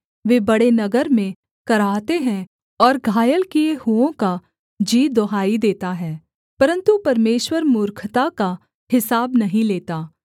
वे बड़े नगर में कराहते हैं और घायल किए हुओं का जी दुहाई देता है परन्तु परमेश्वर मूर्खता का हिसाब नहीं लेता